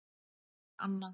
Þín Anna